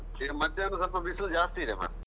ಈಗ ಮಧ್ಯಾಹ್ನ ಸ್ವಲ್ಪ ಬಿಸಿಲು ಜಾಸ್ತಿ ಇದೆ ಮರ್ರೆ.